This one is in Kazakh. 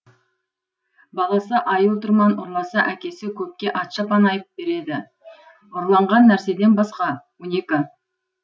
баласы айыл тұрман ұрласа әкесі көпке ат шапан айып береді ұрланған нәрседен басқа он екі